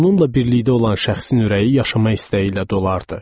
Onunla birlikdə olan şəxsin ürəyi yaşama istəyi ilə dolardı.